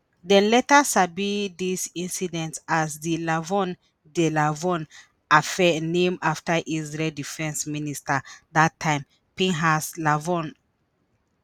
dem later sabi dis incident as di lavon di lavon affair named afta israel defence minister dat time pinhas lavon.